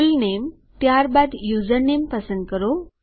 full name ત્યારબાદ username પસંદ કરો